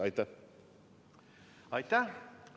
Aitäh!